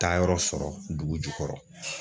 Taayɔrɔ sɔrɔ dugu jukɔrɔ.